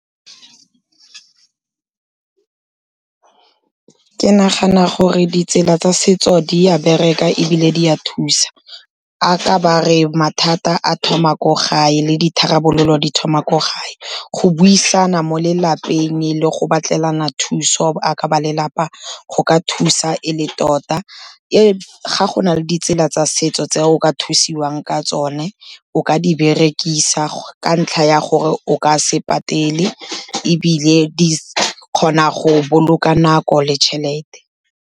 Ke nagana gore ditsela tsa setso di ya bereka ebile di a thusa, a ka ba re mathata a thoma ko gae le ditharabololo di thoma ko gae. Go buisana mo lelapeng le go batlelana thuso jaka ba lelapa, go ka thusa e le tota. Ga go na le ditsela tsa setso tse o ka thusiwang ka tsone, o ka di berekisa, ka ntlha ya gore o ka se patele ebile di kgona go boloka nako le tšhelete.